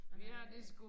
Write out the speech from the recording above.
Jamen jeg